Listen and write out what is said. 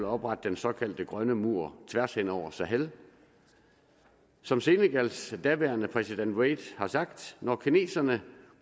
oprette den såkaldte grønne mur tværs hen over sahel som senegals daværende præsident wade har sagt når kineserne